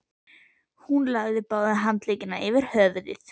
Hún lagði báða handleggina yfir höfuðið.